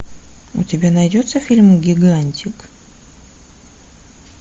у тебя найдется фильм гигантик